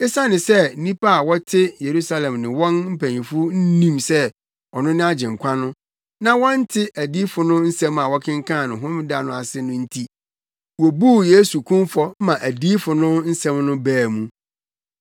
Esiane sɛ nnipa a na wɔte Yerusalem ne wɔn mpanyimfo nnim sɛ ɔno ne Agyenkwa no, na wɔnte adiyifo no nsɛm a wɔkenkan no Homeda no ase no nti, wobuu Yesu kumfɔ maa adiyifo no nsɛm no baa mu.